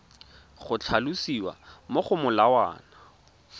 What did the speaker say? go tlhalosiwa mo go molawana